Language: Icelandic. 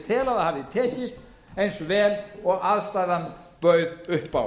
tel að það hafi tekist eins vel og aðstaðan bauð upp á